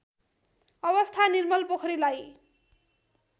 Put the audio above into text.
अवस्था निर्मल पोखरीलाई